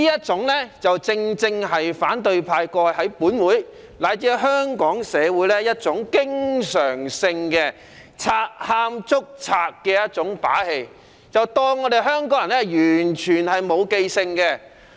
這正是反對派過去在本會乃至香港社會經常作的"賊喊捉賊"的把戲，以為香港人完全沒記性。